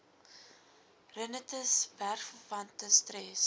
rinitis werkverwante stres